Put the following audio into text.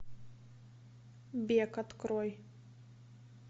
бег открой